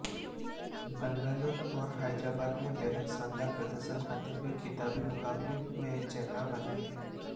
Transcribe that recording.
बंगलूर और हैदराबाद ने बेहद शानदार प्रदर्शन करते हुए खिताबी मुकाबले में जगह बनाई है